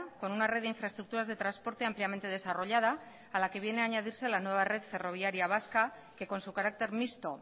con una red de infraestructuras de transporte ampliamente desarrollada a la que viene a añadirse la nueva red ferroviaria vasca que con su carácter mixto